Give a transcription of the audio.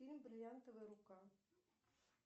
фильм бриллиантовая рука